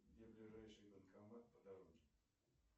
где ближайший банкомат по дороге